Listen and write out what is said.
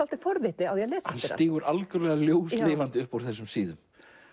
forvitni á að lesa hann stígur algjörlega ljóslifandi upp úr þessum síðum